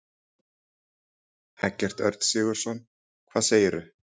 Eggert Örn Sigurðsson: Hvað segirðu?